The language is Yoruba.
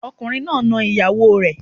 Ọkùnrin náà na ìyàwó rẹ̀